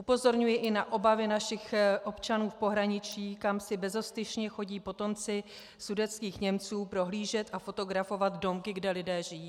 Upozorňuji i na obavy našich občanů v pohraničí, kam si bezostyšně chodí potomci sudetských Němců prohlížet a fotografovat domky, kde lidé žijí.